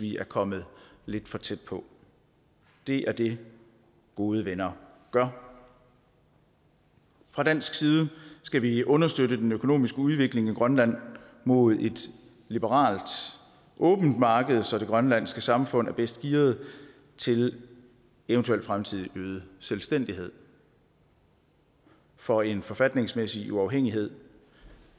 vi er kommet lidt for tæt på det er det gode venner gør fra dansk side skal vi understøtte den økonomiske udvikling i grønland mod et liberalt åbent marked så det grønlandske samfund er bedst gearet til en eventuel fremtidig øget selvstændighed for en forfatningsmæssig uafhængighed